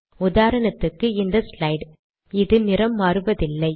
உதாரணத்துக்கு இந்த ஸ்லைட் இது நிறம் மாறுவதில்லை